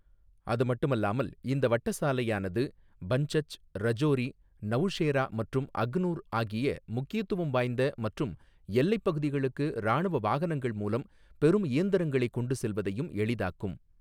அதுமட்டுமல்லாமல், இந்த வட்ட சாலையானது பன்சச், ரஜோரி, நவுஷேரா மற்றும் அக்னூர் ஆகிய முக்கியத்துவம் வாய்ந்த மற்றும் எல்லைப் பகுதிகளுக்கு இராணுவ வாகனங்கள் மூலம் பெரும் இயந்திரங்களைக் கொண்டு செல்வதையும் எளிதாக்கும்.